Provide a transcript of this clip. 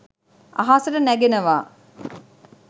අහසට නැගෙනවා